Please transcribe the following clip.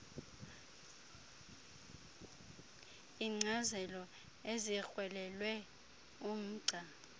iinkcazelo ezikrwelelwe umgca